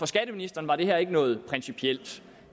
skatteministeren var det her ikke noget principielt